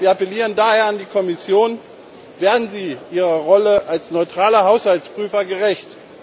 Wir appellieren daher an die Kommission Werden Sie Ihrer Rolle als neutraler Haushaltsprüfer gerecht!